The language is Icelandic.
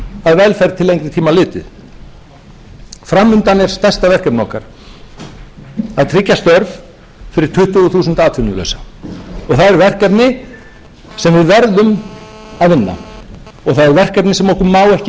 það er þannig sem við leggjum grunn að velferð til lengri tíma litið fram undan er stærsta verkefnið okkar að tryggja störf fyrir tuttugu þúsund atvinnulausa það er verkefni sem við verðum og það er verkefni sem okkur má ekki